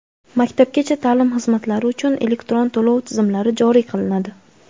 Maktabgacha ta’lim xizmatlari uchun elektron to‘lov tizimlari joriy qilinadi.